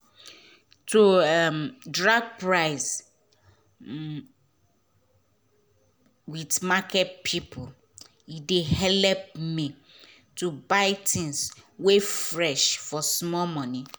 to dey drag um price with market pipo dey help me to buy tins wey fresh for small moni